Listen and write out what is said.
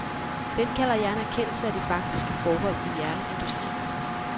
Den kalder jeg en erkendelse af de faktiske forhold i jernindustrien.